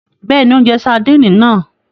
Bẹẹni, o njẹ sardini náà